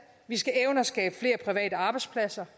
vi skal evne at skabe flere private arbejdspladser